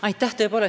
Aitäh!